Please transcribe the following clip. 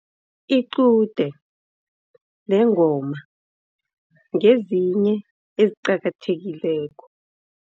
Iqude nengoma ngezinye eziqakathekileko.